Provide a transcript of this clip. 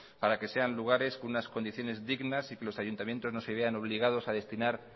para que sean lugares con unas condiciones dignas y que los ayuntamientos no se vean obligados a destinar